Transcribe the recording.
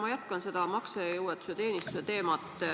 Ma jätkan seda maksejõuetuse teenistuse teemat.